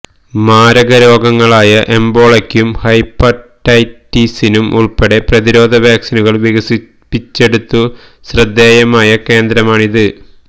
മാരക രോഗങ്ങളായ എബോളയ്ക്കും ഹെപ്പറ്റൈറ്റിസിനും ഉള്പ്പെടെ പ്രതിരോധ വാക്സിനുകള് വികസിപ്പിച്ചെടുത്തു ശ്രദ്ധേയമായ കേന്ദ്രമാണിത്